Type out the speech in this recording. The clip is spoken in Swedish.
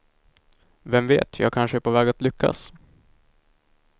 Vem vet, jag kanske är på väg att lyckas.